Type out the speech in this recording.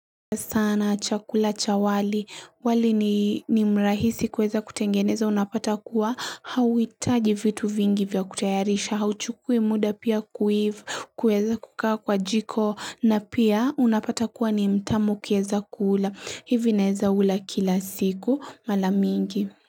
Sana chakula cha wali, wali ni mrahisi kueza kutengeneza unapata kuwa, hauhitaji vitu vingi vya kutayarisha, hauchukui muda pia kuiva, kueza kukaa kwa jiko, na pia unapata kuwa ni mtamu kieza kuula, hivi naeza ula kila siku, mara mingi.